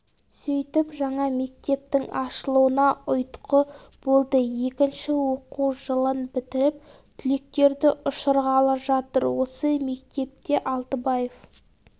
сөйтіп жаңа мектептің ашылуына ұйытқы болды екінші оқу жылын бітіріп түлектерді ұшырғалы жатыр осы мектепте алтыбаев